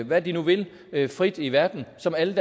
hvad de nu vil vil frit i verden som alle